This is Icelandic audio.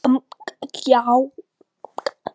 Eigum við kannski að skella okkur í dansinn núna?